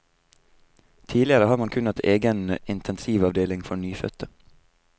Tidligere har man kun hatt egen intensivavdeling for nyfødte.